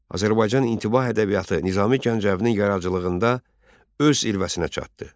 Azərbaycan intibah ədəbiyyatı Nizami Gəncəvinin yaradıcılığında öz zirvəsinə çatdı.